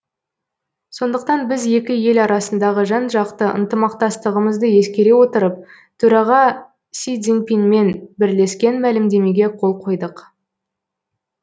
сондықтан біз екі ел арасындағы жан жақты ынтымақтастығымызды ескере отырып төраға си цзиньпинмен бірлескен мәлімдемеге қол қойдық